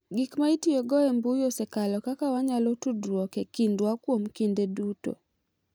Gik ma itiyogo e mbui oseloko kaka wanyalo tudruok e kindwa kuom kinde duto.